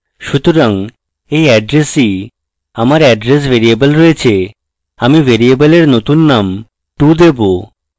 সুতরাং এই এড্রেসই আমার address ভ্যরিয়েবলে রয়েছে আমি ভ্যরিয়েবলের নতুন নাম to দেবো